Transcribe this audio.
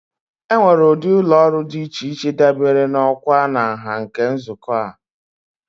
Enwere ụdị ụlọ ọrụ dị iche iche dabere na ọkwa na nha nke nzukọ a.